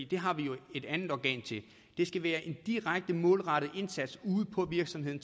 det har vi jo et andet organ til det skal være en direkte målrettet indsats ude på virksomheden